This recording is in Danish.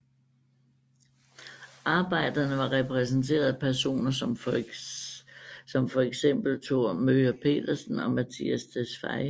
Arbejderisterne var repræsenteret af personer som for eksempel Thor Möger Pedersen og Mattias Tesfaye